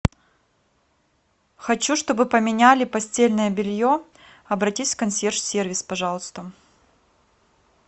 хочу чтобы поменяли постельное белье обратись в консьерж сервис пожалуйста